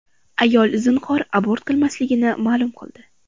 Ayol zinhor abort qilmasligini ma’lum qildi.